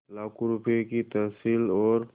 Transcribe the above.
लाखों रुपये की तहसील और